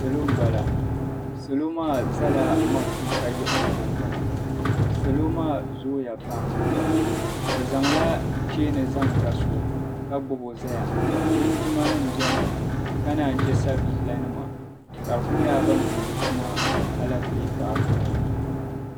Salo m-bala. Salo maa zala matuuka yiɣirigu gbini. Salo maa zooya pam. Bɛ zaŋla cheeni zaŋ ga so ka gbibi o zaya. Linjimanima beni ka naan yi che sabiilanima ka di ku nyɛla ban tumdi tuma alepile paaki ŋɔ ni.